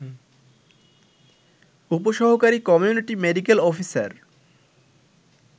উপ সহকারী community medical officer